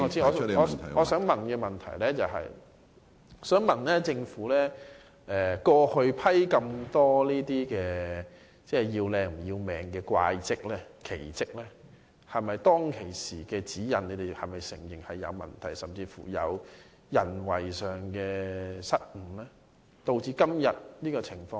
我的補充質詢就是，政府過去批出這麼多"要靚唔要命"的"怪則"、"奇則"，你們會否承認當時的指引是有問題的，甚至是因人為失誤，而導致今天這種情況？